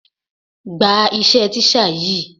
Gba iṣẹ́ teacher yìí.